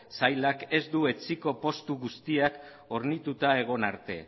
sailak ez du etsiko postu guztiak hornituta egon arte